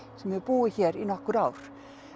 sem hefur búið hér í nokkur ár